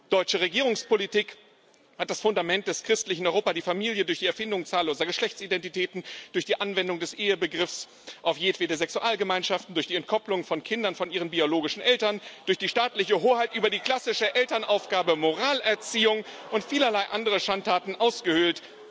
Deutsche Regierungspolitik hat das Fundament des christlichen Europa, die Familie, durch die Erfindung zahlloser Geschlechtsidentitäten, durch die Anwendung des Ehebegriffs auf jedwede Sexualgemeinschaften, durch die Entkopplung von Kindern von ihren biologischen Eltern, durch die staatliche Hoheit über die klassische Elternaufgabe, Moralerziehung und vielerlei andere Schandtaten ausgehöhlt.